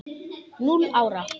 Núll ára!